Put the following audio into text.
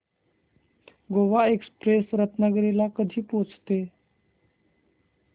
Goa Express Ratnagiri ला कधी पोहचते